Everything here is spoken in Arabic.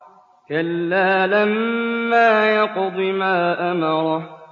كَلَّا لَمَّا يَقْضِ مَا أَمَرَهُ